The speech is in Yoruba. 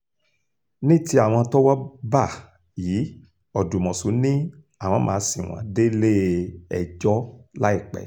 ní ti àwọn tọwọ́ bá yìí ọdùmọ̀ṣù ni àwọn máa sìn wọ́n délé-ẹjọ́ láìpẹ́